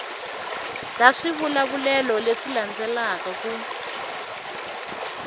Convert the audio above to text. ta swivulavulelo leswi landzelaka ku